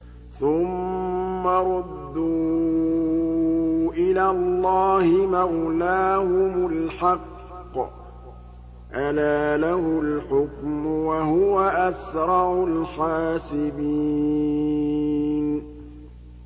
ثُمَّ رُدُّوا إِلَى اللَّهِ مَوْلَاهُمُ الْحَقِّ ۚ أَلَا لَهُ الْحُكْمُ وَهُوَ أَسْرَعُ الْحَاسِبِينَ